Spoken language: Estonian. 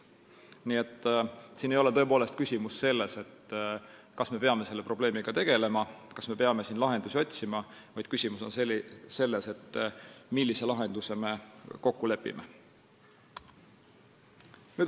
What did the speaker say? Nii et tõepoolest ei ole küsimus selles, kas me peame selle probleemiga tegelema ja lahendusi otsima, vaid küsimus on selles, millises lahenduses me kokku lepime.